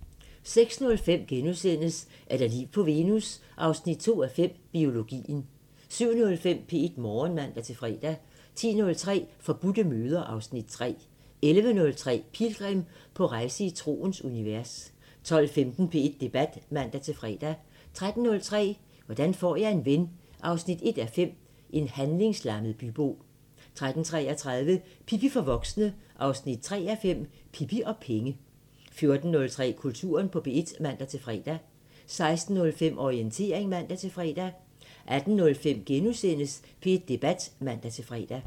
06:05: Er der liv på Venus? 2:5 – Biologien * 07:05: P1 Morgen (man-fre) 10:03: Forbudte møder (Afs. 3) 11:03: Pilgrim – på rejse i troens univers 12:15: P1 Debat (man-fre) 13:03: Hvordan får jeg en ven 1:5 – En handlingslammet bybo 13:33: Pippi for voksne 3:5 – Pippi og penge 14:03: Kulturen på P1 (man-fre) 16:05: Orientering (man-fre) 18:05: P1 Debat *(man-fre)